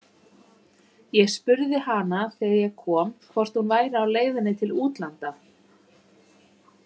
Ég spurði hana þegar ég kom hvort hún væri á leiðinni til útlanda.